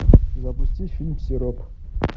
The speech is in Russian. запусти фильм сироп